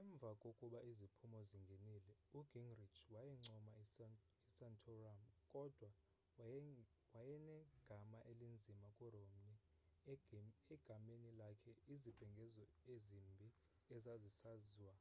emva kokuba iziphumo zingenile ugingrich wayincoma isantorum kodwa wayenegama elinzima kuromney egameni lakhe izibhengezo ezimbi ezazisasazwa